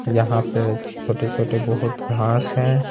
यहां पे छोटे छोटे बहुत घास हैं।